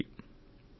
ఇలాగ సాగిందా కవిత